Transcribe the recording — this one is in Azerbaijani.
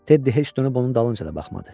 Teddi heç dönüb onun dalınca da baxmadı.